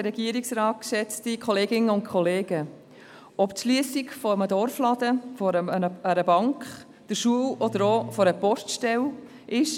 Ob es die Schliessung eines Dorfladens, einer Bank, einer Schule oder auch einer Poststelle ist: